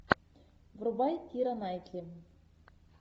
врубай кира найтли